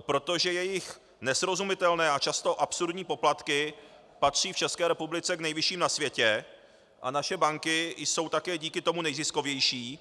protože jejich nesrozumitelné a často absurdní poplatky patří v České republice k nejvyšším na světě a naše banky jsou také díky tomu nejziskovější.